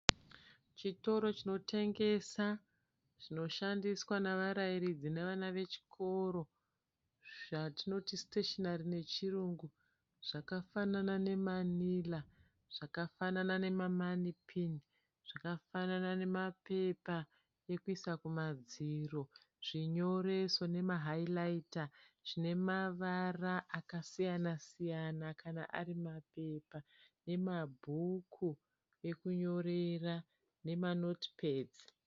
Chitoro chinotengesa zvinoshandiswa nevarayiridzi nevana vechikoro zvatinoti siteshenari nechirungu zvakafanana nemanira, zvakafanana nemamanipini, zvakafanana nemapepa ekuisa kumadziro, zvinyoreso nemahayirayita zvine mavara akasiyana siyana kana ari mapepa nemabhuku ekunyorera nemanotipedzi.